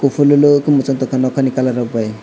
kufur kaieui machang tongo kalar rok bai.